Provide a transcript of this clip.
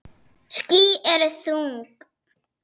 Ský eru þung.